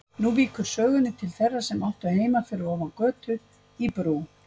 Nú víkur sögunni til þeirra sem áttu heima fyrir ofan götu, í Brú.